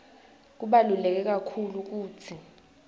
kubaluleke kakhulu kutsi